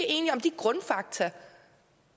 enige om de grundfakta